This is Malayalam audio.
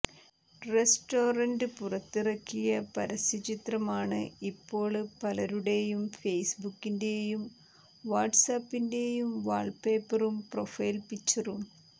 റെസ്റ്റോറന്റ് പുറത്തിറക്കിയ പരസ്യ ചിത്രമാണ് ഇപ്പോള് പലരുടേയും ഫേസ്ബുക്കിന്റെയും വാട്സ്ആപിന്റെയും വാള്പ്പേപ്പറും പ്രൊഫൈല് പിക്ചറും